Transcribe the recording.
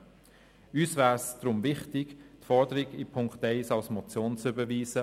Uns wäre es deshalb wichtig, die Forderung der Ziffer 1 als Motion zu überweisen.